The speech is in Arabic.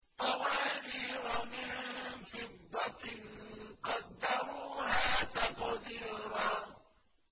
قَوَارِيرَ مِن فِضَّةٍ قَدَّرُوهَا تَقْدِيرًا